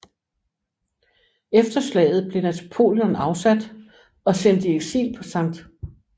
Efter slaget blev Napoleon afsat og sendt i eksil på St